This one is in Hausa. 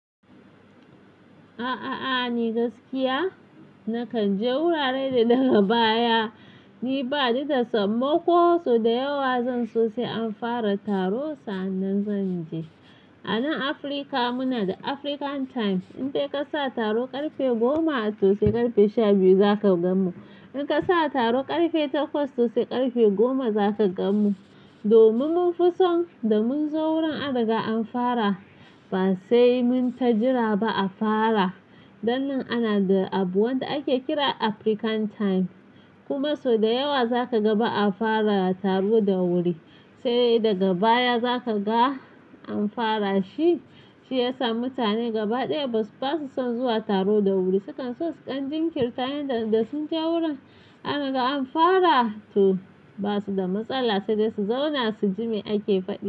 A'a, a'a ni gaskiya na kan je wurare da daga baya. Ni baɗi da samman koh sau da yawa zan so sai an fara taro sannan zan je. A nan Afirka muna da African time. In dai ka sa taro ƙarfe goma a to sai ƙarfe shabiyu za ka gan mu. In ka sa taro ƙarfe takwas to sai ƙarfe goma za ka gan mu. Domin mun fi son da mun zo wurin an daga an fara ba sai mun ta jira ba a fara. Dan nan ana da abu wanda ake kira African time. Kuma sau da yawa za ka ga ba a fara taro da wuri. Sai daga baya za ka ga an fara shi. Shi yasa mutane gaba ɗaya basu son zuwa taro da wuri. Sukan so su kan jinkir ta yanda sun je wurin an dariga an fara to ba su da matsala sai dai su zauna suji me ake fadi.